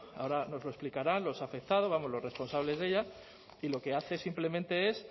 ahora nos lo explicarán los afectados vamos los responsables de ella y lo que hace simplemente es